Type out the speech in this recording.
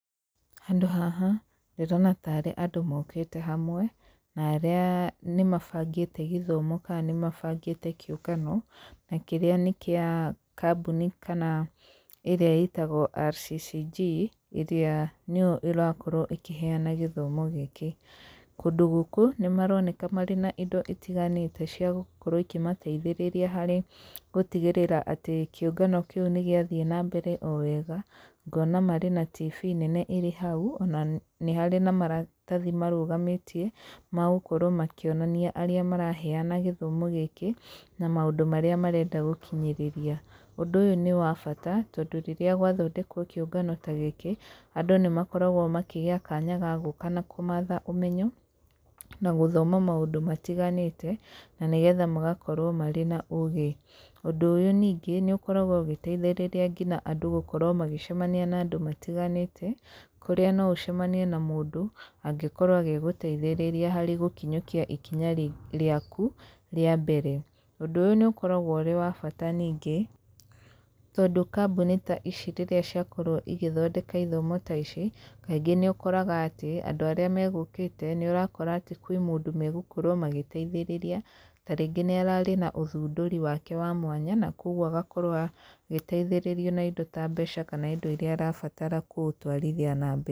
Handũ haha, ndĩrona tarĩ andũ mokĩte hamwe, na arĩa nĩ mabangĩte gĩthomo kana nĩ mabangĩte kĩũngano, na kĩrĩa nĩ kĩa kambuni kana ĩrĩa ĩtagwo RCCG, ĩrĩa nĩyo ĩrakorwo ĩkĩheana gĩthomo gĩkĩ. Kũndũ gũkũ nĩ maroneka marĩ na indo itiganĩte cia, gũkorwo ikĩmateithĩrĩria harĩ gũtigĩrĩra atĩ kĩũngano kĩu nĩ gĩathiĩ nambere o wega, ngona marĩ na tibii nene ĩrĩ hau ona nĩ harĩ na maratathi marũgamĩtie, magũkorwo makĩonania arĩa maraheana gĩthomo gĩkĩ na maũndũ marĩa marenda gũkinyĩrĩria. Ũndũ ũyũ nĩ wa bata tondũ rĩrĩa gwathondekwo kĩũngano ta gĩkĩ, andũ nĩ makoragwo makĩgĩa kanya ga gũka na kũmatha ũmenyo, na gũthoma maũndũ matiganĩte, na nĩgetha magakorwo marĩ na ũgĩ. Ũndũ ũyũ ningĩ nĩ ũkoragwo ũgĩteithĩrĩria nginya andũ gũkorwo magĩcemania na andũ matiganĩte, kũrĩa no ũcemanie na mũndũ angĩkorwo agĩgũteithĩrĩria harĩ gũkinyũkia ikinya rĩaku rĩa mbere. Ũndũ ũyũ nĩ ũkoragwo ũrĩ wa bata ningĩ, tondũ kambuni ta ici rĩrĩa ciakorwo igĩthondeka ithomo ta ici, kaingĩ nĩ ũkoraga atĩ, andũ arĩa magũkĩte nĩ ũrakora atĩ kwĩ mũndũ megũkorwo magĩteithĩrĩria, ta rĩngĩ nĩ ararĩ na ũthundũri wake wa mwanya, na koguo agakorwo agĩteithĩrĩrio na indo ta mbeca kana indo iria arabatara kũũtwarithia na mbere.